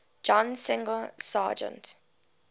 john singer sargent